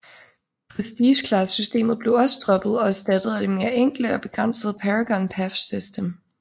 Prestige Class systemet blev også droppet og erstattet af det mere enkle og begrænsede Paragon Path system